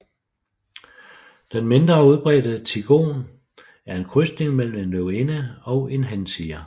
Den mindre udbredte tigon er en krydsning mellem en løvinde og en hantiger